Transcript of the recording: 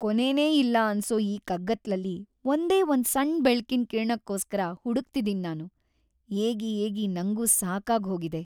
ಕೊನೆನೇ ಇಲ್ಲ ಅನ್ಸೋ ಈ ಕಗ್ಗತ್ಲಲ್ಲಿ ಒಂದೇ ಒಂದ್ ಸಣ್ಣ ಬೆಳಕಿನ್ ಕಿರಣಕ್ಕೋಸ್ಕರ ಹುಡುಕ್ತಿದೀನ್ ನಾನು.. ಏಗಿ ಏಗಿ ನಂಗೂ ಸಾಕಾಗೋಗಿದೆ.